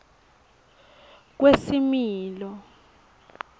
kwesimilo